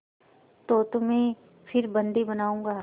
तो तुम्हें फिर बंदी बनाऊँगा